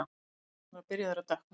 Himinninn var byrjaður að dökkna.